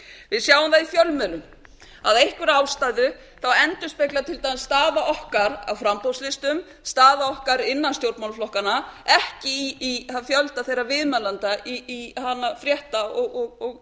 við sjáum það í fjölmiðlum að af einhverri ástæðu endurspeglast til dæmis staða okkar á framboðslistum staða okkar innan stjórnmálaflokkanna ekki í fjölda þegar viðmælenda í fréttum og